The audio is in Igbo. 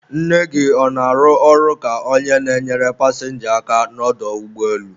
nne gị ọ na-arụ ọrụ ka onye na-enyere pasịnja aka n'ọdọ ụgbọelu?